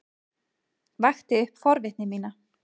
Vakti upp forvitni mína.